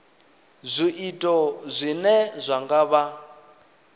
zwiito zwine zwa nga vha